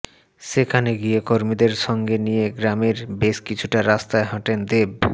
সেখানে গিয়ে কর্মীদের সঙ্গে নিয়ে গ্রামের বেশ কিছুটা রাস্তা হাঁটেন দেব